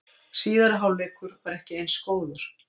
Síðari hálfleikur var ekki eins góður